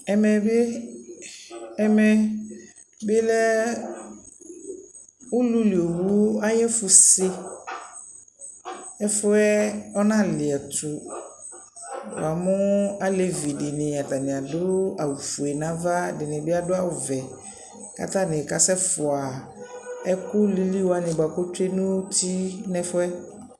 Ɛmɛ bι,ɛmɛ bιlɛɛ ululi owu ayʋ ɛfʋ se, ɛfʋ yɛɛ ɔnali ɛtʋNamʋ alevi dιnι, atanι adʋ awʋ fue nʋ ava ,ɛdιnι bι adʋ, kʋ atai kasɛ fʋa ɛkʋ lili wanι bʋa kʋ otsyue nʋ uti nʋ ɛfʋyɛ